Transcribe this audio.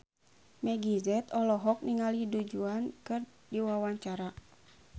Meggie Z olohok ningali Du Juan keur diwawancara